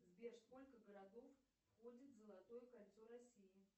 сбер сколько городов входит в золотое кольцо россии